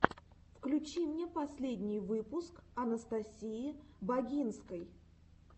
включи мне последний выпуск анастасии багинской